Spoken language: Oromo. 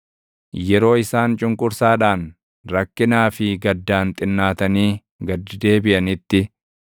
Yeroo isaan cunqursaadhaan, rakkinaa fi gaddaan xinnaatanii gad deebiʼanitti,